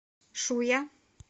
шуя